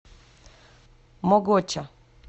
могоча